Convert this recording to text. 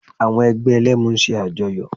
Àwọn ẹgbẹ́ Ẹlẹ́mu ń ṣe àjọyọ̀